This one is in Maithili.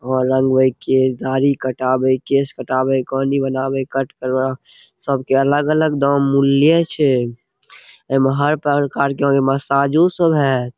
हां रंगवे केश दाढ़ी कटावे के केश कटावे कानी बनेएवे कट सबके अलग-अलग दाम मूल्ये छै एमे हर प्रकार के मसाजो सब हेत।